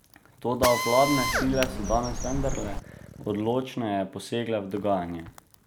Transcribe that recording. Toda vladne sile so danes vendarle odločneje posegle v dogajanje.